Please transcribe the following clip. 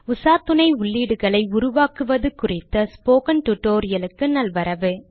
உசாத்துணை உள்ளீடுகளை உருவாக்குவது குறித்த டுடோரியலுக்கு நல்வரவு